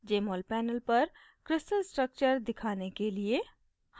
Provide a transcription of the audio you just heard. jmol panel पर crystal structure दिखाने के लिए: